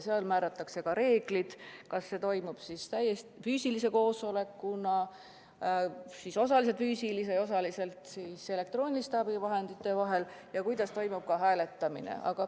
Määratakse reeglid, kas see toimub ainult füüsilise koosolekuna või osaliselt füüsilisena ja osaliselt elektrooniliste abivahendite abil ja kuidas toimub ka hääletamine.